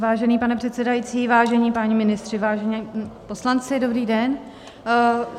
Vážený pane předsedající, vážení páni ministři, vážení poslanci, dobrý den.